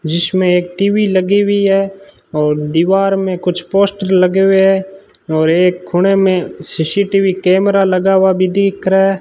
जिसमें एक टी_वी लगी हुईं हैं और दीवार में कुछ पोस्टर लगे हुएं हैं और एक कोने में सी_सी_टी_वी कैमरा भी लगा हुआ भी दिख रहा है।